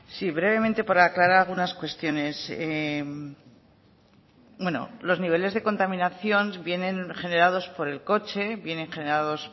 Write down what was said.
zurea da hitza sí brevemente por aclarar algunas cuestiones bueno los niveles de contaminación vienen generados por el coche vienen generados